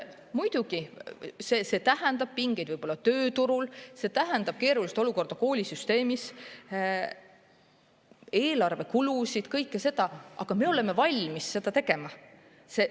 Muidugi, see tähendab pingeid võib-olla tööturul, see tähendab keerulist olukorda koolisüsteemis, eelarvekulusid – kõike seda, aga me oleme valmis seda tegema.